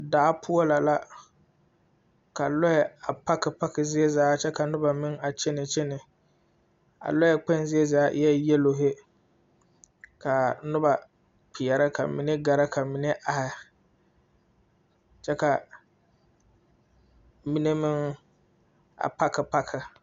Daa poɔ lɛ la ka lɔɛ a paki paki zie zaa kyɛ ka noba meŋ a kyene kyene a lɔɛ kpoŋ zie zaa eɛ yɛlohi ka noba kpeɛrɛ ka mine gɛrɛ ka mine are kyɛ ka mine meŋ a paki paki.